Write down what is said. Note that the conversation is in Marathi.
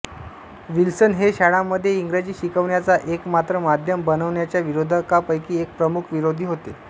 विल्सन हे शाळांमध्ये इंग्रजी शिकवण्याचा एकमात्र माध्यम बनविण्याच्या विरोधकांपैकी एक प्रमुख विरोधी होते